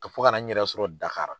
Ka fo ka na n yɛrɛ sɔrɔ Dakari.